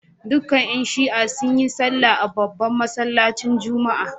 Dukkan ‘yan Shi’a sun yi sallah a babban masallacin Juma’a